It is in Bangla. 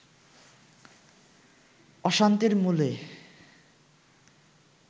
অশান্তির মূলে